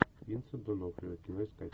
винсент донофрио кино искать